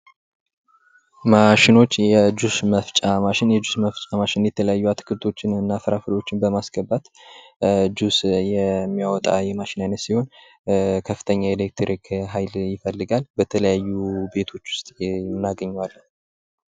ማሽኖች የጁስ መፍጫ ማሽን የጁስ መፍጫ ማሽን ፦የተለያዩ አትክልቶችን እና ፍራፍሬዎችን በማስገባት ጁስ የሚያወጣ የማሽን አይነት ሲሆን ከፍተኛ የኤሌክትሪክ ሃይል ይፈልጋል። በተለያዩ ቤቶች ውስጥ እናገኘዋለን።